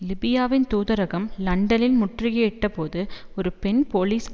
லிபியாவின் தூதரகம் லண்டனில் முற்றுகையிடப்பட்டபோது ஒரு பெண் போலீஸ்